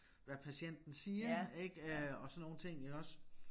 Hvad patienten siger ik øh og sådan nogle ting iggås